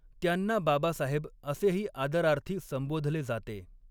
त्यांना बाबासाहेब असेही आदरार्थी संबोधले जाते.